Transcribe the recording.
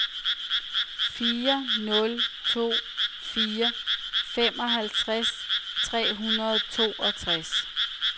fire nul to fire femoghalvtreds tre hundrede og toogtres